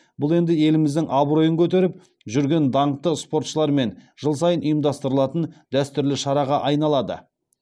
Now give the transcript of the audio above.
бұл енді еліміздің абыройын көтеріп жүрген даңқты спортшылармен жыл сайын ұйымдастырылатын дәстүрлі шараға айналады